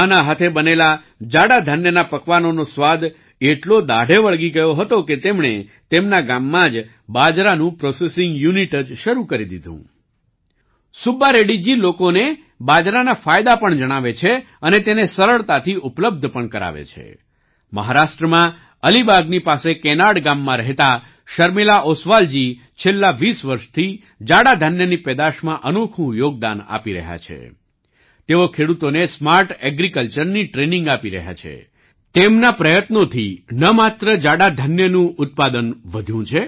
માં ના હાથે બનેલા જાડા ધાન્ય મિલેટ્સ ના પકવાનોનો સ્વાદ એટલો દાઢે વળગી ગયો હતો કે તેમણે તેમના ગામમાં જ બાજરાનું પ્રોસેસિંગ યૂનિટ જ શરૂ કરી દીધું